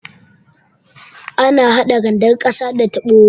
Ana hada randar ƙasa da tabo.